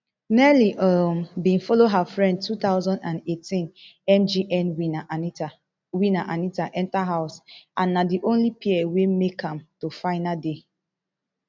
nelly um bin follow her friend two thousand and eighteen mgn winner anita winner anita enta house and na di only pair wey make am to final day